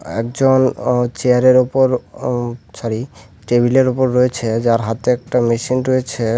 একজন অ চেয়ারের ওপর ওম সরি টেবিলের ওপর রয়েছে যার হাতে একটা মেশিন রয়েছে।